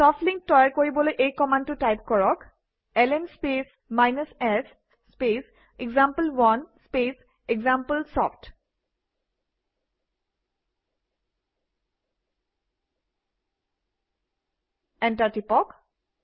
soft link তৈয়াৰ কৰিবলৈ এই কমাণ্ডটো টাইপ কৰক - LN space s space example one space example soft enter টিপক